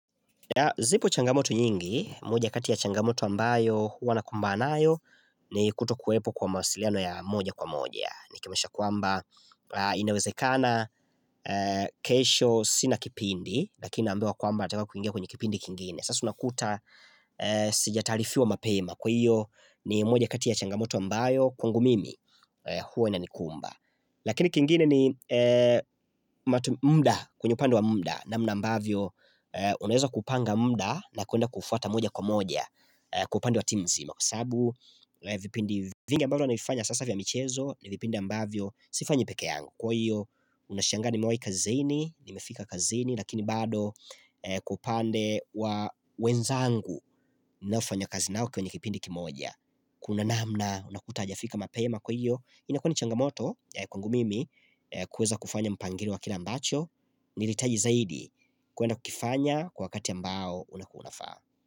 Zipo changamoto nyingi, moja kati ya changamoto ambayo huwa nakumbana nayo ni kutokuwepo kwa mawasiliano ya moja kwa moja. Nikimanisha kwamba inawezekana kesho sina kipindi, lakini naambiwa kwamba nataka kuingia kwenye kipindi kingine. Sasa unakuta sijatalifiwa mapema kwa iyo ni moja kati ya changamoto ambayo kwangu mimi huwa inanikumba. Lakini kingine ni muda kwenye upande wa muda namna ambavyo unaweza kupanga muda na kuenda kufuata moja kwa moja Kwa upande wa timu nzima Kwa sabu, vipindi vingi ambavyo navifanya sasa vya michezo ni vipindi ambavyo, sifanyi peke yangu Kwa hiyo, unashangaa nimewai kazini, nimefika kazini Lakini bado kwa upande wa wenzangu ninaofanya kazi nao kwenye kipindi kimoja Kuna namna, unakuta hajafika mapema kwa hiyo ina kuwa ni changamoto kwangu mimi kuweza kufanya mpangirio wa kile ambacho Nilihitaji zaidi kuenda kukifanya wakati ambao ulikuwa unafaa.